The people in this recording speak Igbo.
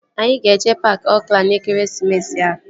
Anyị ga-eje paaki Oakland n'ekeresimesi a